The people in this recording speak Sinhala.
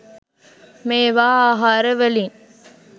මේවා ආහාර වලින්